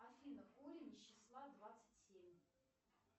афина корень из числа двадцать семь